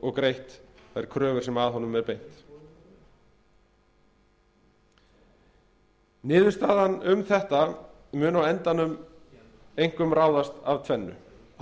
og greitt þær kröfur sem að honum er beint niðurstaðan um þetta mun á endanum einkum ráðast af tvennu